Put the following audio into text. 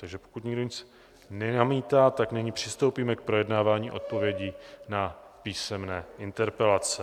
Takže pokud nikdo nic nenamítá, tak nyní přistoupíme k projednávání odpovědí na písemné interpelace.